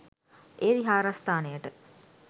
එය විහාරස්ථානයට